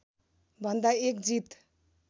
भन्दा एक जीत